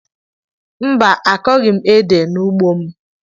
Mba, akọghị m ede n'ugbo m